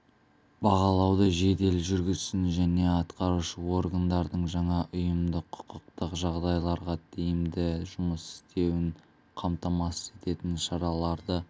бағалауды жедел жүргізсін және атқарушы органдардың жаңа ұйымдық-құқықтық жағдайларда тиімді жұмыс істеуін қамтамасыз ететін шараларды